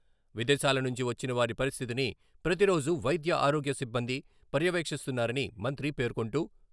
విదేశాల నుంచి వచ్చిన వారి పరిస్థితిని ప్రతి రోజు వైద్య ఆరోగ్య సిబ్బంది పర్యవేక్షిస్తున్నారని మంత్రి పేర్కొంటూ......